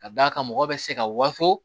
Ka d'a kan mɔgɔ bɛ se ka waso